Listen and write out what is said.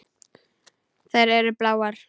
Þær eru bláar.